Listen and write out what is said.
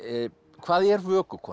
hvað er